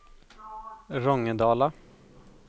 Rångedala